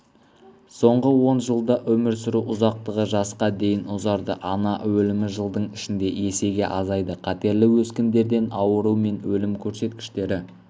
соңғы он жылда өмір сүру ұзақтығы жасқа дейін ұзарды ана өлімі жылдың ішінде есеге азайды қатерлі өскіндерден ауыру мен өлім көрсеткіштері